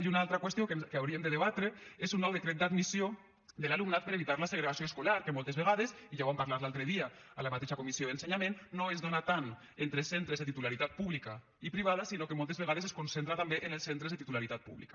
i una altra qüestió que hauríem de debatre és un nou decret d’admissió de l’alumnat per evitar la segregació escolar que moltes vegades i ja ho vam parlar l’altre dia a la mateixa comissió d’ensenyament no es dóna tant entre centres de titularitat pública i privada sinó que moltes vegades es concentra també en els centres de titularitat pública